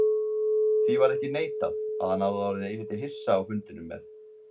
Því varð ekki neitað, að hann hafði orðið eilítið hissa á fundinum með